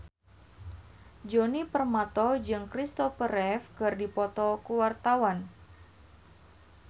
Djoni Permato jeung Christopher Reeve keur dipoto ku wartawan